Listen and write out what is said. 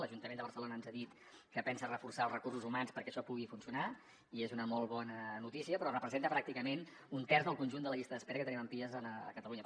l’ajuntament de barcelona ens ha dit que pensa reforçar els recursos humans perquè això pugui funcionar i és una molt bona notícia però representa pràcticament un terç del conjunt de la llista d’espera que tenim en pies a catalunya